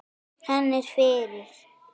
Hann er fyrir.